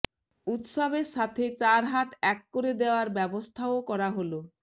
উৎসবের সাথে চার হাত এক করে দেওয়ার ব্যবস্থাও করা হল